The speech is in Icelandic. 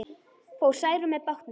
Fór Særún með bátnum.